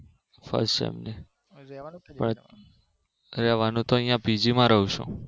First sem ની. રેવાનું તો અહિયાં પીજીમાં રહું છું